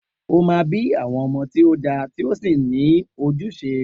O máa bí àwọn ọmọ tí ó dára tí ó sì ní ojúṣe